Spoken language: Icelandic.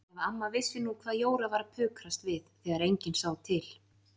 Ef amma vissi nú hvað Jóra var að pukrast við þegar enginn sá til!